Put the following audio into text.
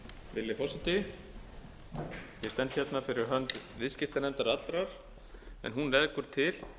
virðulegi forseti ég stend hérna fyrir hönd viðskiptanefndar allrar en hún leggur til